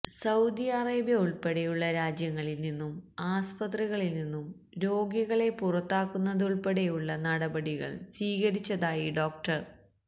Saudi Arabia ഉള്പ്പടെയുള്ള രാജ്യങ്ങളില് നിന്നും ആസ്പത്രികളില് നിന്നും രോഗികളെ പുറത്താക്കുന്നതുള്പ്പടെയുള്ള നടപടികള് സ്വീകരിച്ചതായി ഡോ